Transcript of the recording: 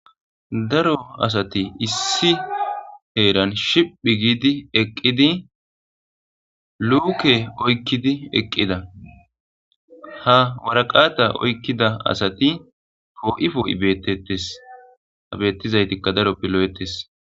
Daro asati issi heran shiphi gidi eqidi luke oykidi eqida ha woraqata oykida asati po'i po'i betetes ha betizaytika darope lo'etes.